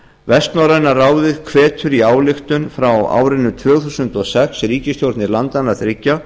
vestnorræna ráðið hvetur í ályktun frá árinu tvö þúsund og sex ríkisstjórnir landanna þriggja